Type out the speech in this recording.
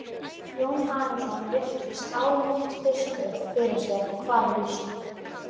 Jón Arason virti Skálholtsbiskup fyrir sér og kvað vísu